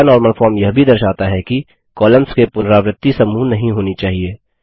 पहला normal form यह भी दर्शाता है कि कॉलम्स के पुनरावृत्ति समूह नहीं होने चाहिए